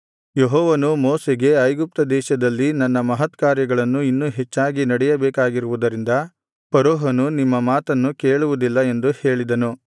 ಯೆಹೋವನು ಮೋಶೆಗೆ ಐಗುಪ್ತ ದೇಶದಲ್ಲಿ ನನ್ನ ಮಹತ್ಕಾರ್ಯಗಳನ್ನು ಇನ್ನೂ ಹೆಚ್ಚಾಗಿ ನಡೆಯಬೇಕಾಗಿರುವುದರಿಂದ ಫರೋಹನು ನಿಮ್ಮ ಮಾತನ್ನು ಕೇಳುವುದಿಲ್ಲ ಎಂದು ಹೇಳಿದನು